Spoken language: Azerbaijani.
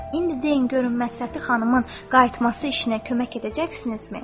İndi deyin görüm Məsləhəti xanımın qayıtması işinə kömək edəcəksinizmi?